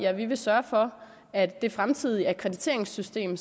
at vi vil sørge for at det fremtidige akkrediteringssystem